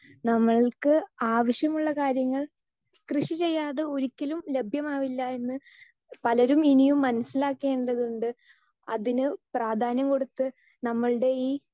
speaker 2 നമ്മൾക്ക് ആവശ്യമുള്ള കാര്യങ്ങൾ കൃഷി ചെയ്യാതെ ഒരിക്കലും ലഭ്യമാവില്ല എന്ന് പലരും ഇനിയും മനസ്സിലാകേണ്ടതുണ്ട് അതീന് പ്രാധ്യാനം കൊടുത്ത് നമ്മൾടെ ഈ